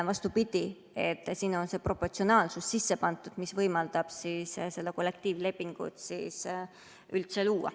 Vastupidi, siia on see proportsionaalsus sisse pandud, mis võimaldab üldse kollektiivlepingut luua.